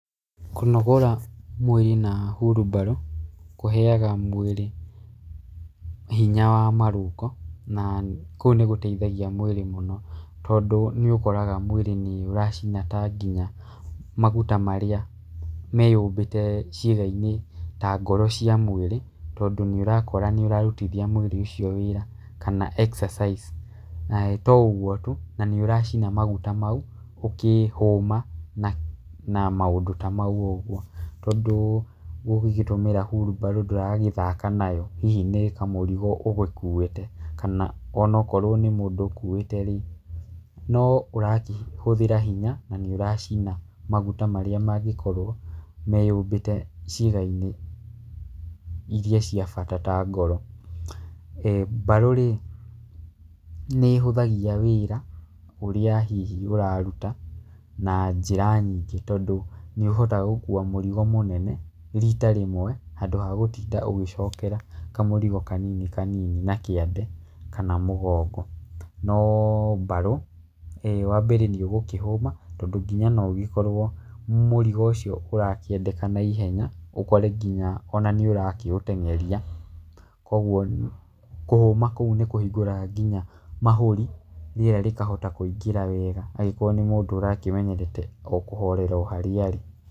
Kũnogora mwĩrĩ nĩ hurubarũ, kũheaga mwĩrĩ hinya wa marũngo, na kũu nĩgũteithagia mwĩrĩ mũno tondũ nĩũkoraga mwĩrĩ nĩũracina ta nginya maguta marĩa me yũmbĩte ciĩgainĩ ta ngoro cia mwĩrĩ, tondũ nĩũrakũra, nĩũrarutithia mwĩrĩ ũcio wĩra kana exercice to ũguo tu na nĩũracina maguta mau ũkĩhũma na na maũndũ ta mau ũguo. Tondũ gũgĩtũmĩra hurumbaro ndũrathaka nayo hihi nĩ kamũrigo ũgũkuĩte, kana onokorwo nĩ mũndũ ũkuĩte rĩ, no ũrakĩhũthĩra hinya, na nĩũracima maguta marĩa mangĩkorwo meyũmbĩte ciĩgainĩ iria cia bata ta ngoro. Mbarũ rĩ, nĩhũthagia wĩra, ũrĩa hihi ũraruta, na njĩra nyingĩ tondũ nĩũotaga gũkua mũrigo mũnene rita rĩmwe, handũ ha gũtinda ũgĩcokera kamũrigo kanini kanini na kĩande kana mũgongo. No mbarũ, wambere nĩũgũkĩhũma, tondũ nginya no ũgĩkorwo mũrigo ũcio ũrakĩendekana ihenya, ũkore nginya ona nĩũrakĩũtengeria, koguo kũhũma kũu nĩkũhingũraga nginya mahũri, rĩera rĩkahota kũingĩra wega angĩkorwo nĩ mũndũ ũramenyerete o kũhorera harĩa arĩ.